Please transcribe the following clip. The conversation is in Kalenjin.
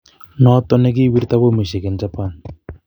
Noton ne giwirta bomishek en Japan